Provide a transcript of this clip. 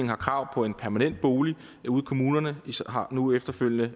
have krav på en permanent bolig ude i kommunerne nu efterfølgende